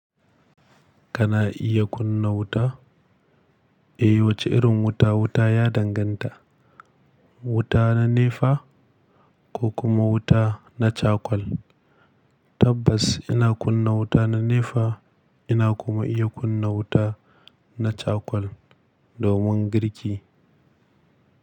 Kana iya kunna wuta? Eh, wace irin wuta? Wuta ya danganta. Wuta na nefa ko kuma wuta na cakwal. Tabbas ina kunna wuta na nefa. Ina kuma iya kunna wuta na cakwal domin girki.